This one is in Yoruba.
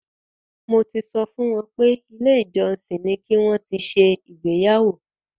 Mo ti sọ fún wọn pé ilé ìjọsìn ni ki wọn ti ṣe ìgbéyàwó.